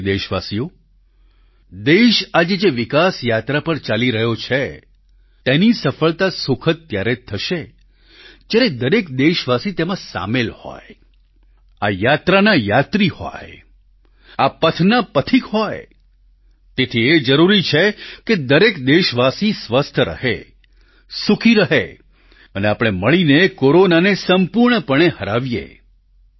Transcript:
મારા પ્રિય દેશવાસીઓ દેશ આજે જે વિકાસ યાત્રા પર ચાલી રહ્યો છે તેની સફળતા સુખદ ત્યારે જ થશે જ્યારે દરેક દેશવાસી તેમાં સામેલ હોય આ યાત્રાના યાત્રી હોય આ પથના પથિક હોય તેથી એ જરૂરી છે કે દરેક દેશવાસી સ્વસ્થ રહે સુખી રહે અને આપણે મળીને કોરોનાને સંપૂર્ણપણે હરાવીએ